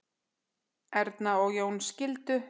Erna og Jón skildu.